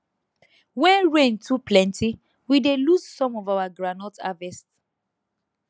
when rain too plenty we dey lose some of our groundnut harvest